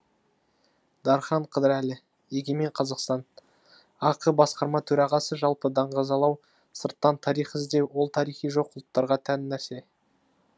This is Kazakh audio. дархан қыдырәлі егемен қазақстан ақ басқарма төрағасы жалпы даңғазалау сырттан тарих іздеу ол тарихы жоқ ұлттарға тән нәрсе